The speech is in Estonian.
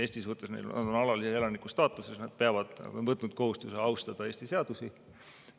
Eestis on neil alalise elaniku staatus, sest nad on võtnud kohustuse austada Eesti seadusi.